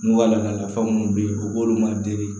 N'u ka laadala nafa minnu bɛ yen u b'olu made